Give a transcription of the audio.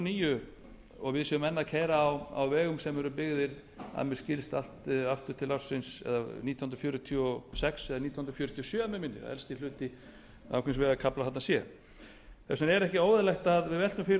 níu og við séum enn að keyra á vegum sem eru byggðir að mér skilst allt aftur til ársins nítján hundruð fjörutíu og sex eða nítján hundruð fjörutíu og sjö minnir mig elsti hluti ákveðins vegarkafla þarna sé þess vegna er ekki óeðlilegt að við veltum fyrir